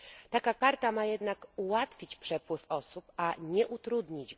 Taka karta ma jednak ułatwić przepływ osób, a nie go utrudnić.